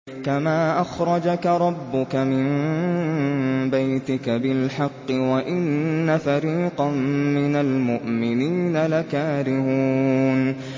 كَمَا أَخْرَجَكَ رَبُّكَ مِن بَيْتِكَ بِالْحَقِّ وَإِنَّ فَرِيقًا مِّنَ الْمُؤْمِنِينَ لَكَارِهُونَ